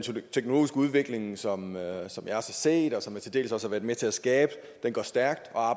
teknologiske udvikling som jeg har set og til dels også været med til at skabe går stærkt og